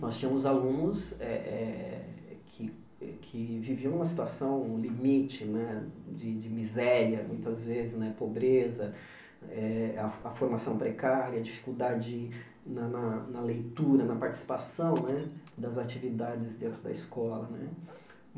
Nós tínhamos alunos eh eh que que viviam numa situação, limite né de de miséria, muitas vezes né, pobreza, eh a a formação precária, dificuldade na na na leitura, na participação né das atividades dentro da escola né.